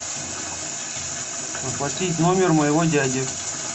оплатить номер моего дяди